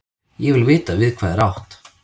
Ég vil vita við hvað er átt.